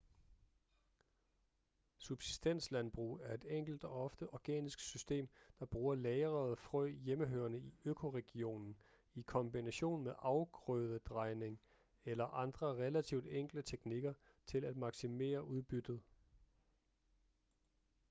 subsistenslandbrug er et enkelt og ofte organisk system der bruger lagrede frø hjemmehørende i økoregionen i kombination med afgrødedrejning eller andre relativt enkle teknikker til at maksimere udbyttet